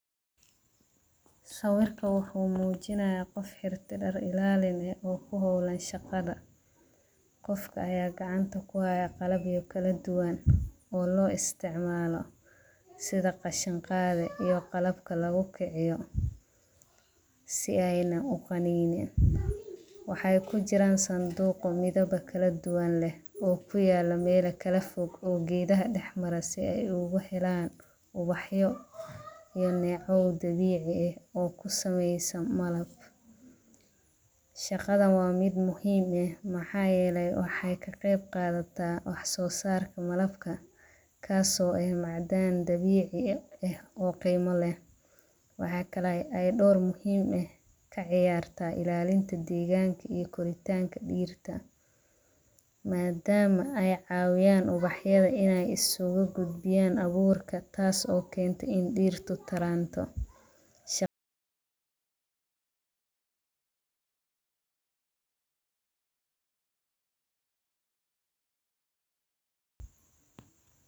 Sawirka wuxu mujinaya qoof xirte daar ilaalin eeh ee ku hawlan shaqadha. Qofka aya gacanta kuhaya qalaba kaladuwaan oo loo isticamalo sidha gashin qadhe iyo dabka lagu kiciyo si ayna u ganin. Waxay kujiraan sanduug midhawa kaladuwaan leeh oo kuyalo meela kala foog oo geedaha dax mara si ay uga helaan ubaxyo iyo neeco dabici eeh oo kusamysan maalab. Shaqadhan wa mid muhiim eeh, maxa yeele waxay ka qeyb qadata wa so saarka malabka kaaso oo macdaan dabici eeh oo qimo leeh. Waxa kale oo dawr muhiim eeh kaciyarta ilalinta deganka iyo koritanka diirta madama ay cawiyan ubaxyadha inay askugu gudbiyanka abuurka taas oo keento in ay dirta taranto.